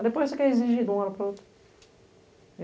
Aí depois você quer exigir de uma hora para a outra.